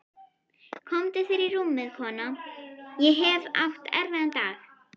Komdu þér í rúmið, kona, ég hef átt erfiðan dag.